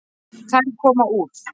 Þær koma úr